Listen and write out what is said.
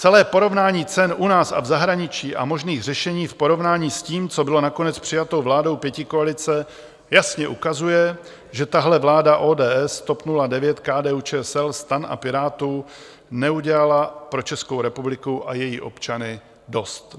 Celé porovnání cen u nás a v zahraničí a možných řešení v porovnání s tím, co bylo nakonec přijato vládou pětikoalice, jasně ukazuje, že tahle vláda ODS, TOP 09, KDU-ČSL, STAN a Pirátů neudělala pro Českou republiku a její občany dost.